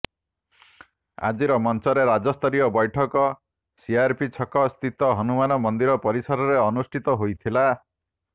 ଆଜି ମଞ୍ଚର ରାଜ୍ୟସ୍ତରୀୟ ବୈଠକ ସିଆର୍ପି ଛକ ସ୍ଥିତ ହନୁମାନ ମନ୍ଦିର ପରିସରରେ ଅନୁଷ୍ଠିତ ହୋଇଥିଲା